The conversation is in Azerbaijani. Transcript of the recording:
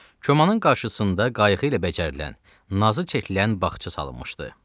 Komanın qarşısında qayğı ilə bacarılan, nazı çəkilən bağça salınmışdı.